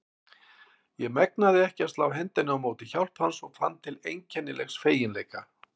Ég megnaði ekki að slá hendinni á móti hjálp hans og fann til einkennilegs feginleika.